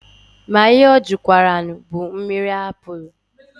Ma ihe ọ jụkwaranụ bụ mmiri apụlụ.